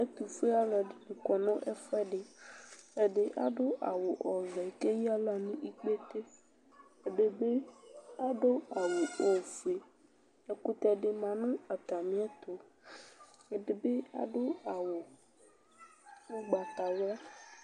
Ɛtufue aluɛdini kɔnu ɛfuɛdi ɛdi adu awu ɔvɛ ku eyaɣla nu ikpete ɛdi adu awu ofue ɛkutɛ di ma nu atamiɛtu ɛdibi adu awu ugbatawla